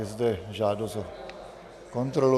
Je zde žádost o kontrolu.